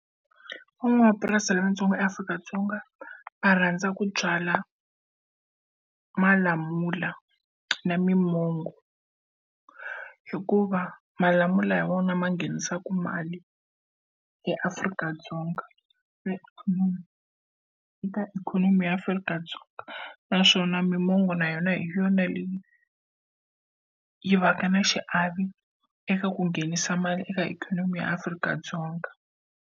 Van'wamapurasi lavatsongo eAfrika-Dzonga va rhandza ku byala malamula na mimango, hikuva malamula ya vona ma nghenisaka mali eAfrika-Dzonga ikhonomi eka ikhonomi ya Afrika-Dzonga. Naswona mimango na yona hi yona leyi yi va ka na xiave eka ku nghenisa mali eka ikhonomi ya Afrika-Dzonga.